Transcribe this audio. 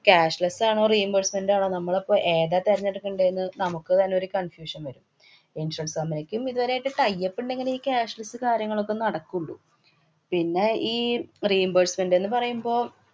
cashless ആണോ reimbursement ആണോ നമ്മളിപ്പം ഏതാ തെരെഞ്ഞെടുക്കേണ്ടേന്ന് നമുക്ക് തന്നെ ഒരു confusion വരും. insurance company ക്കും ഇതേവരെയായിട്ട് tie up ഇണ്ടെങ്കില് ഈ cashless കാര്യങ്ങളൊക്കെ നടക്കുള്ളൂ. പിന്നെ ഈ reimbursement ന്ന് പറയുമ്പോ